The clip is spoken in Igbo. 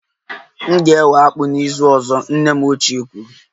M ga-ewe akpu n'izu ọzọ, nne m ochie kwuru.